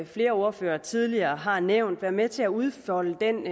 flere ordførere tidligere har nævnt være med til at udfolde den